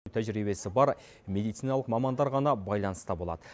тәжірибесі бар медициналық мамандар ғана байланыста болады